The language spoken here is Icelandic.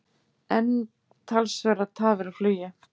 Enn talsverðar tafir á flugi